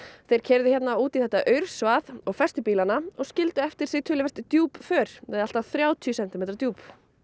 þeir keyrðu hérna út í þetta og festu bílana og skildu eftir sig töluvert djúp för eða allt að þrjátíu sentimetra djúp